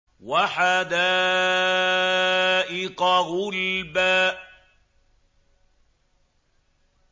وَحَدَائِقَ غُلْبًا